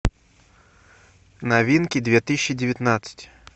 новинки две тысячи девятнадцать